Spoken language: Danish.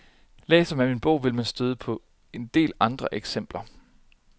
Læser man min bog vil man støde på en del andre eksempler.